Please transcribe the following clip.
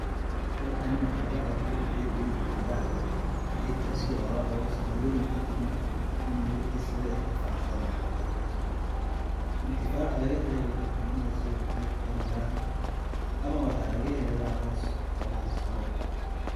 Halkani waxaa laga awuure geed weyn oo camba ah ,geedkaasi oo la rabo sandooyin kadib marka uu baxo in mirahiisa la intifaac sado .Intifaaca laga helayo waxaa kamid ah sida dhirta, miraha, ama waxaa laga helayaaa hoos oo la harsado.